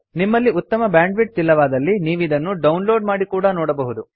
ನಿಮ್ಮಲ್ಲಿ ಉತ್ತಮ ಬ್ಯಾಂಡ್ವಿಡ್ಥ್ ಇಲ್ಲವಾದಲ್ಲಿ ನೀವಿದನ್ನು ಡೌನ್ಲೋಡ್ ಮಾಡಿ ಕೂಡಾ ನೋಡಬಹುದು